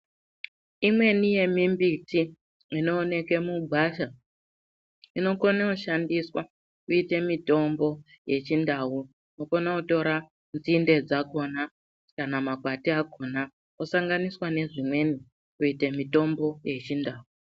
Imweni yemimbiti inooneke mugwasha inokone kushandiswa kuite mitombo yechintau. Unokona kutora nzinde dzakona kana makwati akona osanganiswa nezvimweni kuita mitombo yechintau.